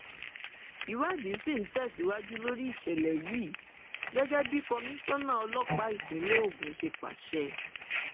ìwádìí sì ń tẹsíwájú lórí ìṣẹlẹ yìí gẹgẹ bí kọmíṣánná ọlọpàá ìpínlẹ ogun ṣe pàṣẹ